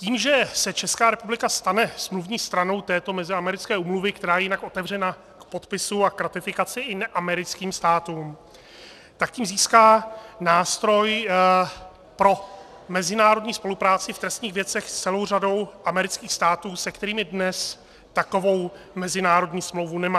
Tím, že se Česká republika stane smluvní stranou této meziamerické úmluvy, která je jinak otevřena k podpisu a k ratifikaci i neamerickým státům, tak tím získá nástroj pro mezinárodní spolupráci v trestních věcech s celou řadou amerických států, s kterými dnes takovou mezinárodní smlouvu nemá.